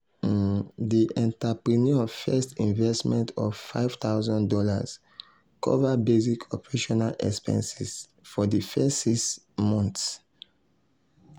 um di entrepreneur first investment of five thousand dollars cover basic operational expenses for di first six um monts. um